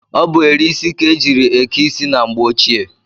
Ọ bụ eri isi ka e jiiri eke isi na mgbe ochie.